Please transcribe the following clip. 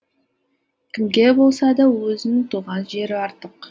кімге болса да өзінің туған жері артық